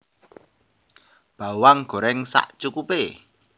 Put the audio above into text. Bawang goreng sacukupe